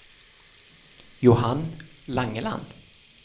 Johan Langeland